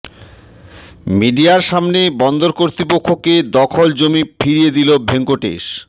মিডিয়ার সামনে বন্দর কর্তৃপক্ষকে দখল জমি ফিরিয়ে দিল ভেঙ্কটেশ